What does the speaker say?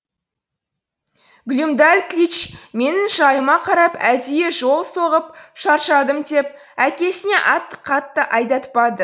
глюмдальклич менің жайыма қарап әдейі жол соғып шаршадым деп әкесіне атты қатты айдатпады